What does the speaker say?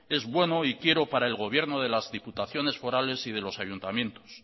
es bueno y quiero para el gobierno de las diputaciones forales y de los ayuntamientos